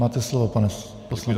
Máte slovo, pane poslanče.